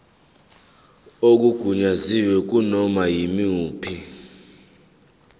okungagunyaziwe kunoma yimuphi